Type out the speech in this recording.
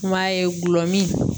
U m'a ye gulɔ mi